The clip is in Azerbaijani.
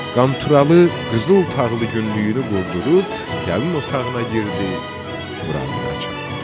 Qanturalı qızıl tağlı günlüyünü qurdurub gəlin otağına girdi, buranlıqda yatdı.